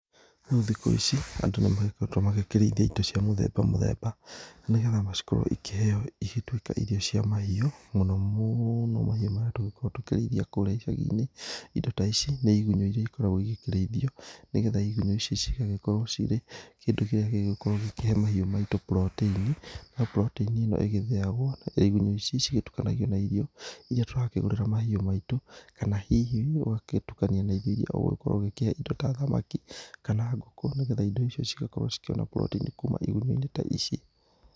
Rĩu thikũ ici andũ nĩ magĩkoretwo makĩrĩithia indo cia mũthemba mũthemba, nĩ getha cikorwo cigĩthĩo gũtuĩka irio cia mahiũ. Mũno mũno mahiũ marĩa tũkoragwo tũkĩrĩithia kũrĩa icagi-inĩ. Indo ta ici nĩ igunyũ iria ikoragwo igĩkĩrĩithio, nĩ getha igunyũ ici cigagĩkorwo cirĩ kĩndũ kĩrĩa gĩgũgĩkorwo gĩkĩhe mahiũ maitũ protein. Na protein ĩno ĩgĩthĩagwo rĩrĩa igunyũ ici cigĩtukanagio na irio iria tũrakĩgũrĩra mahiũ maitũ. Kana hihi ũgagĩtukania na irio iria ũrakorwo ũgĩkĩhe indo ta thamaki kana ngũkũ, nĩ getha indo icio cigĩkorwo cigĩkĩona protein kuma igunyũ-inĩ ta ici.